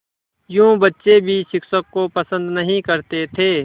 यूँ बच्चे भी शिक्षक को पसंद नहीं करते थे